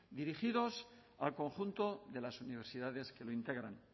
dirigidos al conjunto de las universidades que lo integran